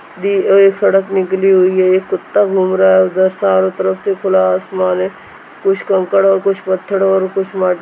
एक सड़क निकली हुई है एक कुत्ता घूम रहा है उधर चारों तरफ से खुला आसमान है कुछ कंकड़ और कुछ पत्थर और कुछ मट्--